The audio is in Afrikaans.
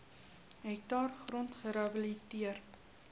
hektaar grond gerehabiliteer